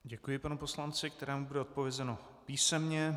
Děkuji panu poslanci, kterému bude odpovězeno písemně.